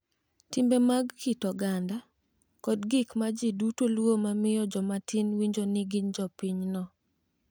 Timbe mag kit oganda, kod gik ma ji duto luwo ma miyo joma tin winjo ni gin jopinyno